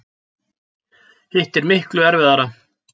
Hitt er miklu erfiðara.